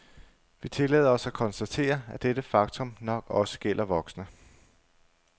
Vi tillader os at konstatere, at dette faktum nok også gælder voksne.